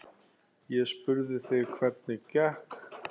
Ég spurði þig hvernig gekk.